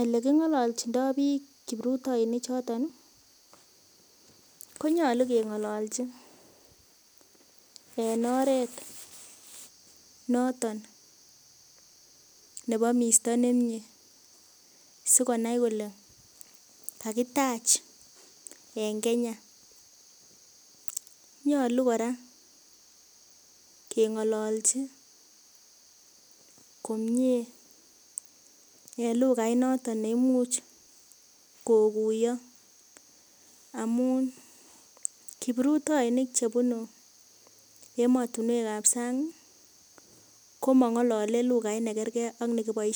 elekingololchindoi kipruitoinik choton konyolu keng'ololchi en oret noton nebo misto nemie sikonai kole kakitach eng Kenya nyolu kora keng'ololchi komie en lukait noton neimuch kokuyo amun kipruitoinik chebunu emotunwek ap sang komong'olole lukait nemakerkei.